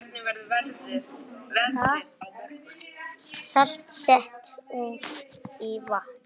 Salt sett út í vatn